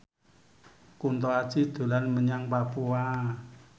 Kunto Aji dolan menyang Papua